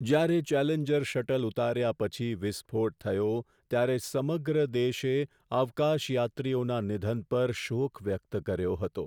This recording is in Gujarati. જ્યારે ચેલેન્જર શટલ ઉતાર્યા પછી વિસ્ફોટ થયો ત્યારે સમગ્ર દેશે અવકાશયાત્રીઓના નિધન પર શોક વ્યક્ત કર્યો હતો.